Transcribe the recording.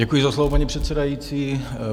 Děkuji za slovo, paní předsedající.